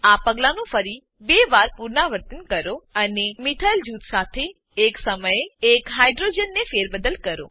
આ પગલાંનું ફરી 2 વાર પુનરાવર્તન કરો અને મિથાઇલ મિથાઈલ જૂથ સાથે એક સમયે એક હાઇડ્રોજન હાઈડ્રોજન ને ફેરબદલ કરો